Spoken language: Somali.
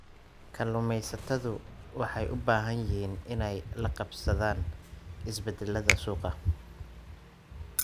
Kalluumaysatadu waxay u baahan yihiin inay la qabsadaan isbeddellada suuqa.